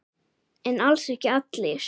En alls ekki allir.